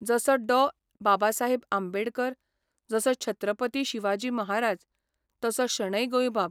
जसो डॉ बाबासाहेब आंबडेकर, जसो छत्रपती शिवाजी महाराज तसो शणै गोंयबाब.